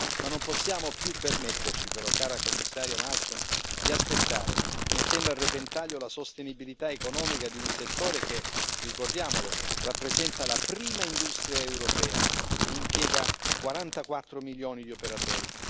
Ma non possiamo più permetterci però, cara Commissaria Malmström, di aspettare, mettendo a repentaglio la sostenibilità economica di un settore che, ricordiamolo, rappresenta la prima industria europea e impiega 44 milioni di operatori.